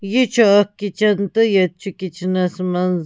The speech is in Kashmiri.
.یہِ چُھ اکھ کِچن تہٕ ییٚتہِ چُھ کِچنس منٛز